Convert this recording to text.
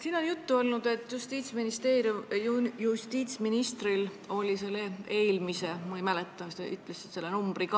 Siin on juttu olnud, et Justiitsministeeriumil ja justiitsministril oli selle eelmise eelnõu kohta – ma ei mäleta, sa ütlesid selle numbri ka ...